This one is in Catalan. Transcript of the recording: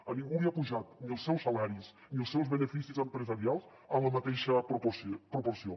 a ningú li han pujat ni els seus salaris ni els seus beneficis empresarials en la mateixa proporció